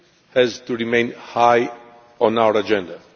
has to remain high on our agenda.